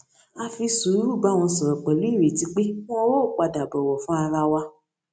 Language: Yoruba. a fi sùúrù bá wọn sòrò pèlú ìrètí pé won óò padà bòwò fún ara wa